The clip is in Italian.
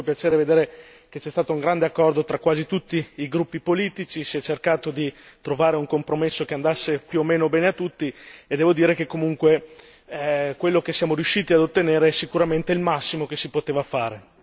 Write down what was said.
Mi ha fatto molto piacere vedere che c'è stato un grande accordo tra quasi tutti i gruppi politici, si è cercato di trovare un compromesso che andasse più o meno bene a tutti e devo dire che comunque quello che siamo riusciti a ottenere è sicuramente il massimo che si poteva fare.